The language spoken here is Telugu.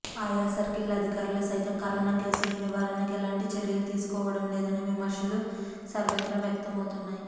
ఆయా సర్కిళ్ల అధికారులు సైతం కరోనా కేసుల నివారణకు ఎలాంటి చర్యలు తీసుకోవడంలేదనే విమర్శలు సర్వత్రా వ్యక్తం అవుతున్నాయి